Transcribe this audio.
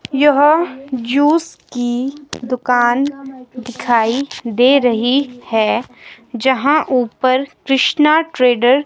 यह जूस की दुकान दिखाई दे रही है जहां ऊपर कृष्णा ट्रेडर--